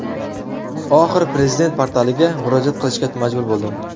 Oxiri Prezident portaliga murojaat qilishga majbur bo‘ldim.